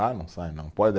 Ah, não sai não.